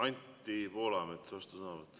Anti Poolamets, vastusõnavõtt.